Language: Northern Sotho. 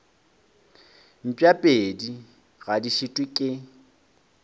mpšapedi ga di šitwe ke